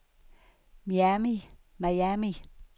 Miami